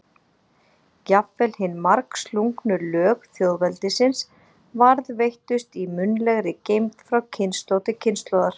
Jafnvel hin margslungnu lög þjóðveldisins varðveittust í munnlegri geymd frá kynslóð til kynslóðar.